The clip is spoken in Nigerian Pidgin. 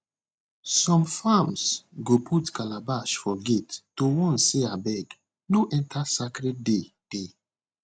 some farms go put calabash for gate to warn say abeg no enter sacred day dey